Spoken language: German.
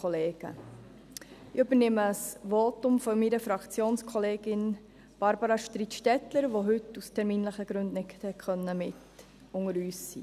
Ich übernehme das Votum meiner Fraktionskollegin Barbara Streit-Stettler, die heute aus terminlichen Gründen nicht unter uns sein kann.